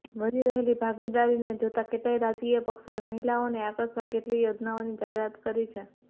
વધી રહેલી ભાગીદારીને જોતાં કેટલાય રાજકીય પક્ષોએ મહિલાઓને આકર્ષવા કેટલીય યોજનાઓની જાહેરાત કરી છે